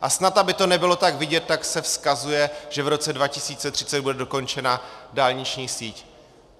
A snad aby to nebylo tak vidět, tak se vzkazuje, že v roce 2030 bude dokončena dálniční síť.